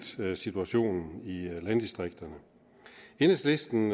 situationen i landdistrikterne enhedslisten